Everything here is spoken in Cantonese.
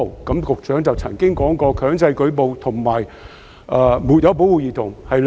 局長曾經表示，"強制舉報"和"沒有保護兒童"是兩回事。